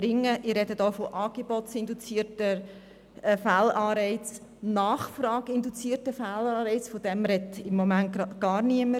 Ich spreche dabei von angebotsinduzierten Fehlanreizen, nachfrageinduzierten Fehlanreizen, davon spricht gegenwärtig gar niemand: